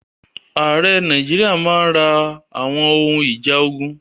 Ààrẹ Nàìjíríà máa ra àwọn ohun ìjà ogun.